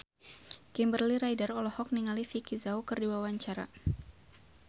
Kimberly Ryder olohok ningali Vicki Zao keur diwawancara